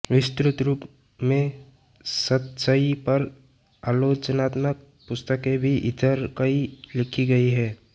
विस्तृत रूप में सतसई पर आलोचनात्मक पुस्तकें भी इधर कई लिखी गई हैं